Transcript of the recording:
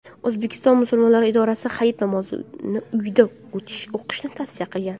O‘zbekiston musulmonlari idorasi Hayit namozini uyda o‘qishni tavsiya qilgan .